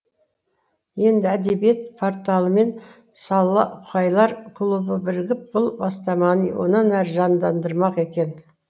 енді әдебиет порталы мен солақайлар клубы бірігіп бұл бастаманы онан ары жандандырмақ екен